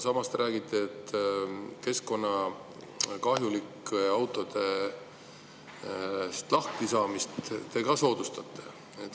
Samas te räägite, et keskkonnakahjulikest autodest lahtisaamist te ka soodustate.